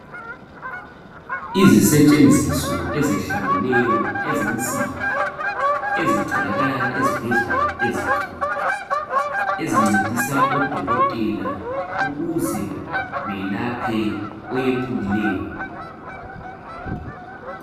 Izisetshenziso ezihlukeneyo ezensimbi ezitholakala ezibhedlela ezinkulu ezincedisa odokotela ukuze belaphe oyephukileyo .